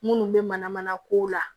Minnu bɛ mana mana kow la